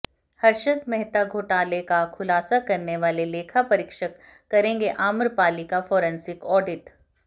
हर्षद मेहता घोटाले का खुलासा करने वाले लेखा परीक्षक करेंगे आम्रपाली का फॉरेंसिक ऑडिट